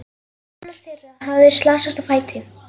Annar þeirra hafði slasast á fæti.